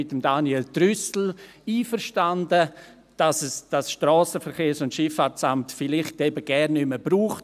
Ich bin mit Daniel Trüssel einverstanden, dass es das SVSA heutzutage im Zeitalter der Digitalisierung vielleicht gar nicht mehr braucht.